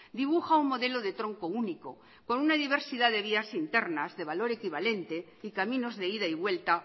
dibuja un modelo de tronco único con una diversidad de vías internas de valor equivalente y caminos de ida y vuelta